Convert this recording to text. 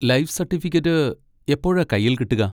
Life certificate എപ്പോഴാ കയ്യിൽ കിട്ടുക?